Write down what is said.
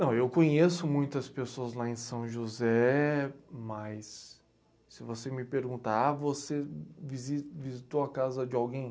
Não, eu conheço muitas pessoas lá em São José, mas se você me perguntar, ah, você visi, visitou a casa de alguém?